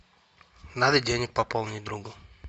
надо денег пополнить другу